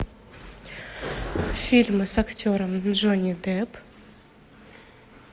фильмы с актером джонни депп